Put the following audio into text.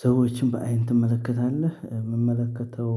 ሰዎችን በአይን ትመለከታለህ? የምመለከተው